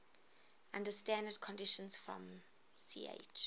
under standard conditions from ch